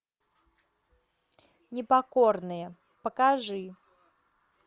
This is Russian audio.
непокорные покажи